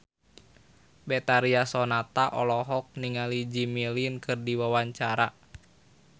Betharia Sonata olohok ningali Jimmy Lin keur diwawancara